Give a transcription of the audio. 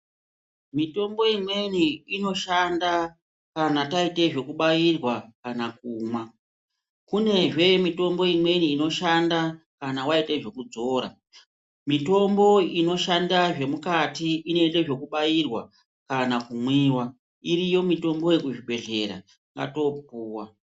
Mitombo imweni inoshanda kana taite zvokubairwa kana kumwa , kunezve imweni mitombo inoshanda kana Waite zvekudzora, mitombo inoshanda zvemukati inoite zvekubairwa kana kumwiwa iriyo mitombo iyi kuzvibhedhlera ngatipuwa.